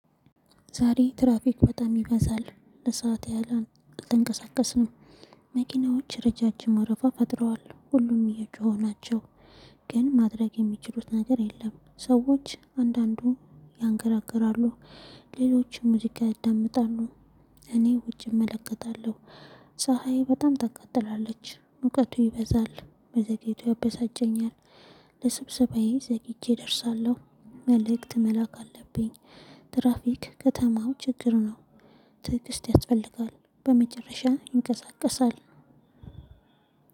ዛሬ ትራፊክ በጣም ይበዛል ለሰአት ያህል አልተንቀሳቀስንም መኪናዎች ረዣዥም ወረፋ ፈጥረዋል ሁሉም እየጮኹ ናቸው ግን ማድረግ የሚችሉት ነገር የለም። ሰዎች አንዳንዱ ያንገራግራሉ ሌሎችም ሙዚቃ ይዳመጣሉ። እኔ ውጪ እመለከታለሁ። ፀሀይ በጣም ታቃጥላለች ሙቀቱ ይበዛል። መዘግየቱ ያበሳጨኛል። ለስብሰባዬ ዘግቼ እደርሳለሁ። መልእክት መላክ አለብኝ። ትራፊክ ከተማው ችግር ነው። ትዕግስት ያስፈልጋል በመጨረሻ ይንቀሳቀሳል።